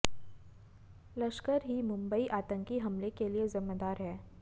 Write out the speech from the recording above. लश्कर ही मुंबई आतंकी हमले के लिए जिम्मेदार है